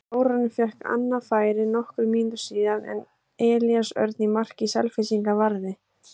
Þórarinn fékk annað færi nokkrum mínútum síðar en Elías Örn í marki Selfyssinga varði.